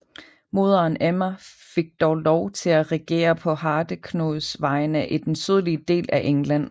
Moderen Emma fik dog lov til at regere på Hardeknuds vegne i den sydlige del af England